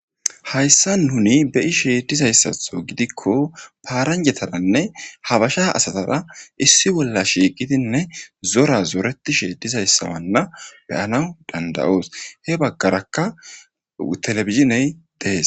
hayssa nuni beishe dizayssatho gidikko paaranjetananne habasha asazara issi bolla shiiqidinne zora zoretishe dizayssawanna beyana dandayoos he baggaraka telefiziney dees